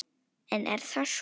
En er það svo?